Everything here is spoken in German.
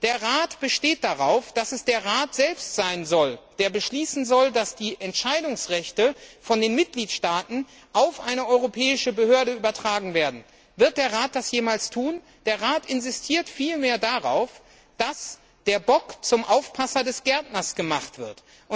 Der Rat besteht darauf, dass es der Rat selbst sein soll, der beschließen soll, dass die Entscheidungsrechte von den Mitgliedstaaten auf eine europäische Behörde übertragen werden. Wird der Rat das jemals tun? Er insistiert vielmehr, dass der Bock zum Aufpasser des Gärtners gemacht